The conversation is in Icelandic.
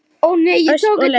Ösp og Leó.